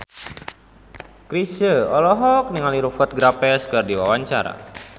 Chrisye olohok ningali Rupert Graves keur diwawancara